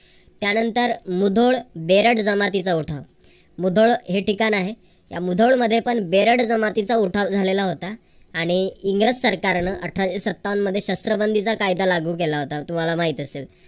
त्यानंतर मुधोळ बेरड जमातीचा उठाव. मुधोळ हे ठिकाण आहे. त्या मुधोळ मध्ये पण बेरड जमातीचा उठाव झालेला होता. आणि इंग्रज सरकारनं अठराशे सत्तावन मध्ये शस्त्र बंदीचा कायदा लागू केला होता. तुम्हाला माहीत असेल.